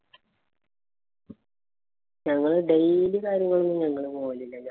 ഞങ്ങള് daily കാര്യങ്ങളൊന്നും ഞങ്ങള് പോന്നില്ല.